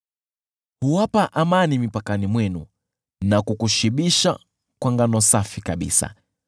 Huwapa amani mipakani mwenu na kukushibisha kwa ngano safi kabisa.